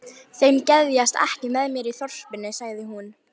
Þeim geðjast ekki að mér í þorpinu sagði hún.